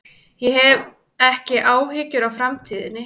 Ég hef ekki áhyggjur af framtíðinni.